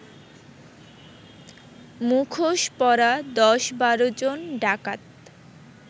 মুখোশ পরা ১০-১২ জন ডাকাত